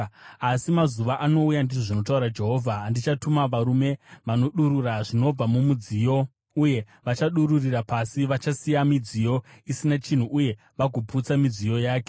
Asi mazuva anouya,” ndizvo zvinotaura Jehovha, “andichatuma varume vanodurura zvinobva mumudziyo, uye vachadururira pasi; vachasiya midziyo isina chinhu uye vagoputsa midziyo yake.